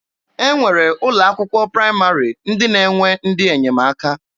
E nwere ụlọ akwụkwọ praịmarị ndị na-enwe ndị enyemaka.